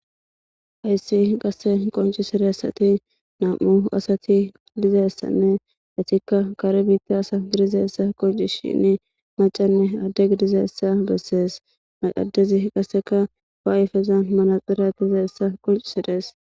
ayssi qasse qoncisiressati nam7u asati dizeyssanne atikka kare biitti asa gidizeessa qonci shinni macanne adde gidizaessa bessees maqadezi qaseka waayifeza manaxira dizaessa qoncisirees